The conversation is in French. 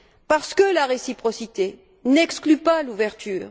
Parce que la réciprocité n'exclut pas l'ouverture.